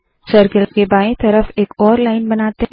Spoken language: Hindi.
सर्कल के बाएं तरफ एक और लाइन बनाते है